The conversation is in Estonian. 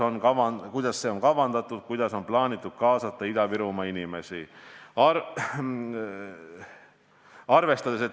Kuidas see on kavandatud, kuidas on plaanitud kaasata Ida-Virumaa inimesi?